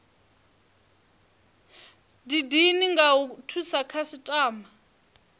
didine nga u thusa khasitama